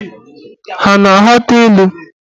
Ha a na-aghọta ilu?